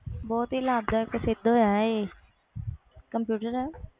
ਬਹੁਤ ਹੀ ਲਾਬਦਿਕ ਹੋਇਆ computer